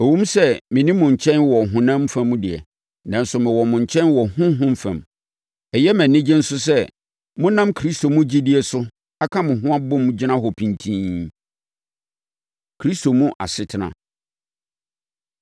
Ɛwom sɛ menni mo nkyɛn wɔ ɔhonam fam deɛ, nanso mewɔ mo nkyɛn wɔ honhom fam. Ɛyɛ me anigye nso sɛ monam Kristo mu gyidie so aka mo ho abom gyina hɔ pintinn. Kristo Mu Asetena